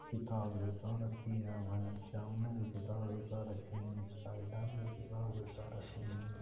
किताब जचा रखी है सामने भी किताब जचा राखी है साइड में भी किताब जचा राखी है।